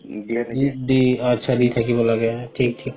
অ আতচা দি থাকিব লাগে থিক থিক